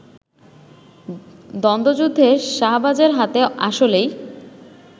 দ্বন্ধযুদ্ধে শাহবাজের হাতে আসলেই